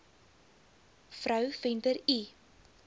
vrou venter l